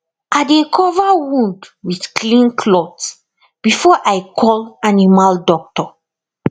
i dey cover wound with clean cloth before i call animal doctor